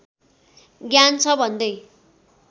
ज्ञान छ भन्दै